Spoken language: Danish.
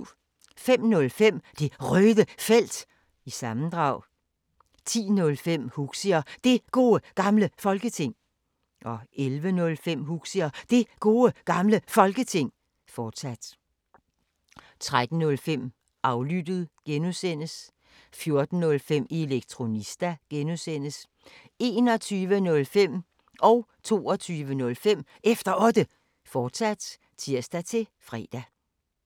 05:05: Det Røde Felt – sammendrag 10:05: Huxi og Det Gode Gamle Folketing 11:05: Huxi og Det Gode Gamle Folketing, fortsat 13:05: Aflyttet G) 14:05: Elektronista (G) 21:05: Efter Otte, fortsat (tir-fre) 22:05: Efter Otte, fortsat (tir-fre)